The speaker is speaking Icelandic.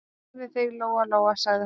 Beygðu þig, Lóa-Lóa, sagði hún.